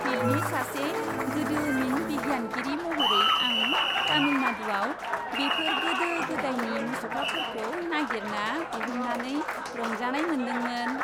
फिल्डनि सासे गोदोमिन बिगियानगिरि महरै, आं तामिलनाडुआव बेफोर गोदो गोदायनि मुसुखाफोरखौ नागिरना दिहुननानै रंजानाय मोन्दोंमोन।